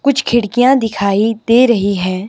कुछ खिड़कियां दिखाई दे रही है।